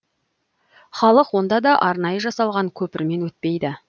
халық онда да арнайы жасалған көпірмен өтпейді